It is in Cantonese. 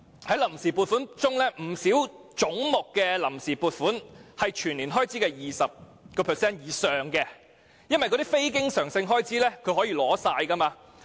在臨時撥款中，不少總目的臨時撥款佔全年開支 20% 以上，當中非經常性開支可以全額取用。